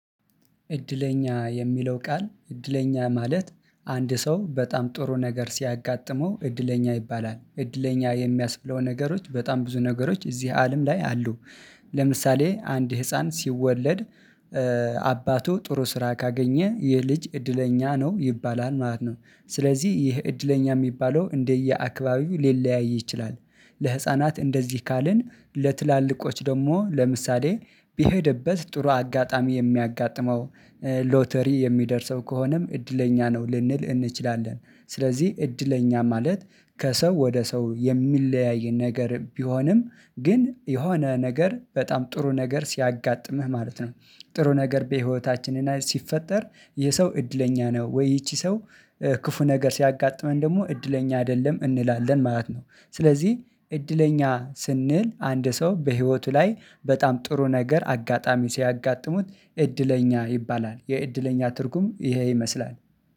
እድለኛ የሚለው ቃል እድለኛ ማለት አንድ ሰው በጣም ጥሩ ነገር ሲያጋጥመው እድለኛ ይባላል እድለኛ የሚያስብለው ነገሮች በጣም ብዙ ነገሮች እዚህ አለም ላይ አሉ። ለምሳሌ አንድ ህፃን ሲወለድ አባቱ ጥሩ ስራ ካገኘ ይህ ልጅ እድለኛ ነው ይባላል ማለት ነው። ስለዚህ ይህ እድለኛ የሚባለው እንደየአክባቢው ሊለያይ ይችላል። ለህፃናት እንደዚህ ካልን ለትላልቆች ደግሞ ለምሳሌ በሄደበት ጥሩ አጋጣሚ የሚያጋጥመው። ሎተሪ የሚደርሰው ከሆነም እድለኛ ነው ልንል እንችላለን። ስለዚህ እድለኛ ማለት ከሰው ወደ ሰው የሚለያይ ነገር ቢሆንም ግን የሆነ ነገር በጣም ጥሩ ነገር ሲያጋጥምህ ማለት ነው። ጥሩ ነገር በህይወታችን ሲፈጠር ይህሰው እድለኛ ነው ወይ? ይቺ ሰው። ክፉ ነገር ሲያጋጥመን ደግሞ እድለኛ አይደለም እንላለን ማለት ነው። ስለዚህ እድለኛ ስንል አንድ ሰው በህይወቱ ላይ በጣም ጥሩ ነገር አጋጣሚ ሲያጋጥሙት እድለኛ ይባላል የእድለኛ ትርጉም ይሄ ይመስላል።